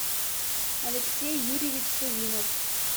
алексей юрьевич савинов